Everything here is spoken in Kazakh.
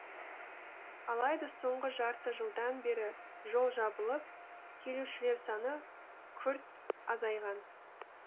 алайда соңғы жарты жылдан бері жол жабылып келушілер саны күрт азайған